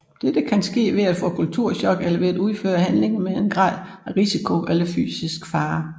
Dette kan sket ved at få kulturchok eller ved at udføre handlinger med en grad af risiko eller fysisk fare